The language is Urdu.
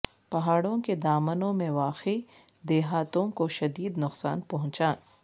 پہاڑوں کے دامنوں میں واقع دیہاتوں کو شدید نقصان پہنچا